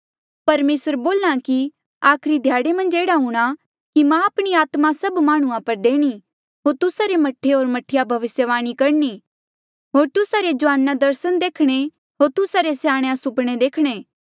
परमेसर बोल्हा कि आखरी ध्याड़े मन्झ एह्ड़ा हूंणां कि मां आपणी आत्मा सभ माह्णुंआं पर देणी होर तुस्सा रे मह्ठे होर मह्ठीया भविस्यवाणी करणी होर तुस्सा रे जुआना दर्सन देखणे होर तुस्सा रे स्याणेया सुपणे देखणे